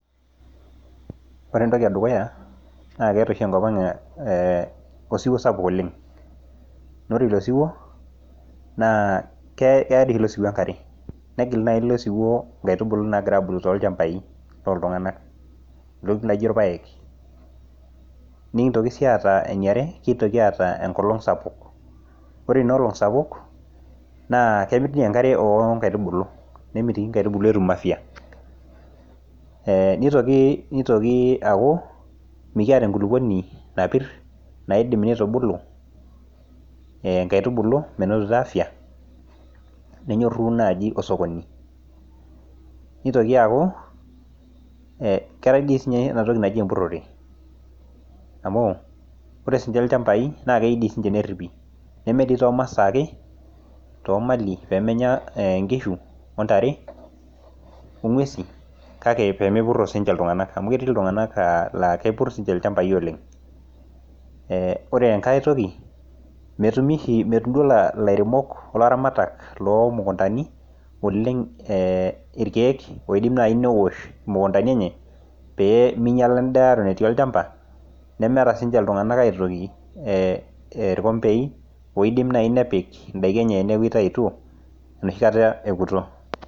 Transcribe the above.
Ore entoki edukuya naa keeta oshi enkopang ee osiwuo sapuk oleng naa ore ilo siwuo naa keya , keyaa dii ilo siwuo enkare , negil naji ilosiwuo nkaitubulu nagira abulu tolchambai loltunganak , ntokiti naijo irpaek . Nikintoki sii aata eniare , kintoki sii aata enkolong sapuk , ore inaolong sapuk naa kemit ninye enkare onkaitubulu nemitoiki nkaitubulu etum afya , ee nitoki , nitoki mikiata enkulupuoni napir naidim nitubulu ee nkaitubulu menotito afaya , nenyoru naji osokoni , nitoki aaku keetae sidii ninye enatoki naji empurore amu ore sininche ilchambai naa kei dii sininche neripi , nemedii toomasaa ake , toomali pemenya eenkishu ontare , ongwesi kake pemepuro sininche iltunganak amu ketii iltunganak aa kepur sininche ilchambai oleng . Eee ore enkae toki metumi oshi , metum ilairemok , olaramatak lomukuntani irkiek oidim naji neosh mukuntani enye pee meinyiala endaa eton etii olchamba , nemeeta sininche iltunganak irkombei oidim nai nepik indaiki enyenitaituo enoshi kata eoto.